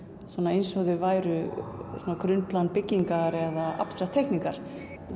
eins og þau væru byggingar eða abstrakt teikningar